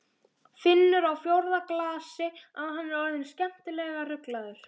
Finnur á fjórða glasi að hann er orðinn skemmtilega ruglaður.